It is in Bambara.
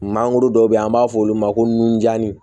Mangoro dɔ bɛ yen an b'a fɔ olu ma ko nunjanni